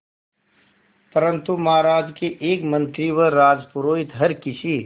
परंतु महाराज के एक मंत्री व राजपुरोहित हर किसी